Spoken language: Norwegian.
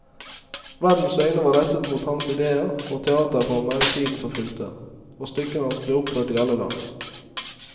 Verdens øyne var rettet mot hans idéer og teaterformer i tiden som fulgte, og stykkene hans ble oppført i alle land.